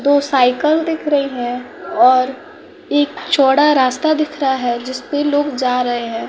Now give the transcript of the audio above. दो सायकल दिख रही है और एक चौड़ा रास्ता दिख रहा है जिसपे लोग जा रहे हैं।